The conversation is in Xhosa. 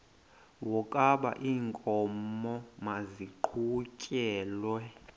wokaba iinkomo maziqhutyelwe